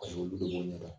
Paseke olu de b'o ɲɛ dɔn